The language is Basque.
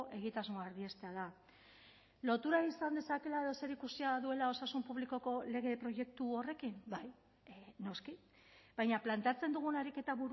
egitasmoa erdiestea da lotura izan dezakeela edo zerikusia duela osasun publikoko lege proiektu horrekin bai noski baina planteatzen dugun ariketa